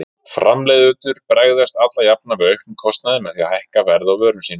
Framleiðendur bregðast alla jafna við auknum kostnaði með því að hækka verð á vörum sínum.